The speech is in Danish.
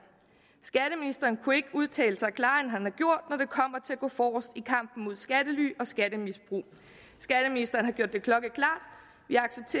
skatteministeren kunne ikke udtalt sig klarere end at gå forrest i kampen mod skattely og skattemisbrug skatteministeren har gjort det klokkeklart